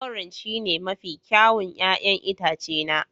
Orange shine mafi kyawun 'ya'yan itace na